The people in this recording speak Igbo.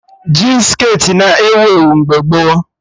Jin skirtị na-ewu ewu mgbe gboo